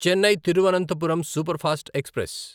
Chennai Thiruvananthapuram superfast express